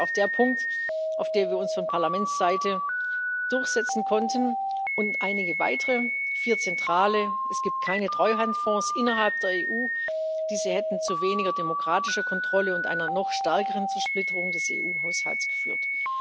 Das ist auch der Punkt, in dem wir uns von Parlamentsseite durchsetzen konnten, und einigen weiteren vier zentralen Es gibt keine Treuhandfonds innerhalb der EU, diese hätten zu weniger demokratischer Kontrolle und einer noch stärkeren Zersplitterung des EU Haushalts geführt.